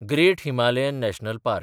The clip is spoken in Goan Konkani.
great Himalayan National park